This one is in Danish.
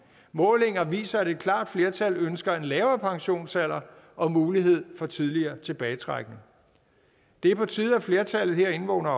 målinger viser at et klart flertal ønsker en lavere pensionsalder og mulighed for tidligere tilbagetrækning det er på tide at flertallet herinde vågner